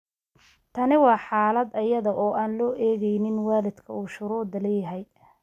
Tani waa xaalad iyada oo aan loo eegin waalidka uu shuruudda leeyahay.